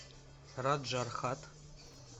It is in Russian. раджархат